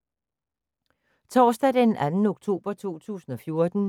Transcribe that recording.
Torsdag d. 2. oktober 2014